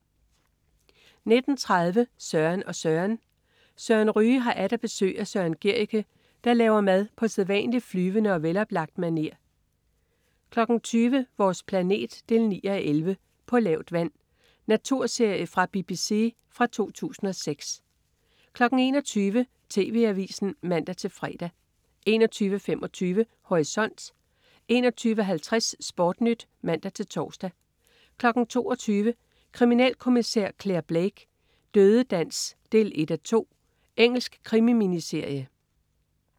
19.30 Søren og Søren. Søren Ryge har atter besøg af Søren Gericke, der laver mad på sædvanlig flyvende og veloplagt maner 20.00 Vores planet 9:11. "På lavt vand". Naturserie fra BBC fra 2006 21.00 TV Avisen (man-fre) 21.25 Horisont 21.50 SportNyt (man-tors) 22.00 Kriminalkommissær Clare Blake: Dødedans 1:2. Engelsk krimi-miniserie